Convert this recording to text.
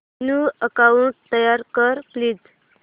new account तयार कर please